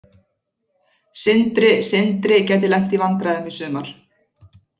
Sindri Sindri gæti lent í vandræðum í sumar.